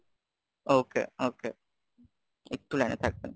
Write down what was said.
okay, okay, একটু লাইনে থাকবেন?